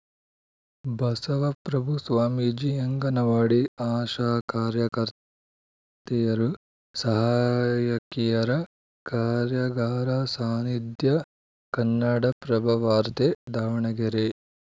ಬಸವಪ್ರಭು ಸ್ವಾಮೀಜಿ ಅಂಗನವಾಡಿ ಆಶಾ ಕಾರ್ಯಕರ್ತೆಯರು ಸಹಾಯಕಿಯರ ಕಾರ್ಯಾಗಾರ ಸಾನಿಧ್ಯ ಕನ್ನಡಪ್ರಭವಾರ್ತೆ ದಾವಣಗೆರೆ